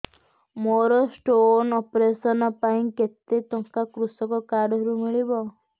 ମୋର stone operation ପାଇଁ କେତେ ଟଙ୍କା କୃଷକ କାର୍ଡ ରୁ ମିଳିବ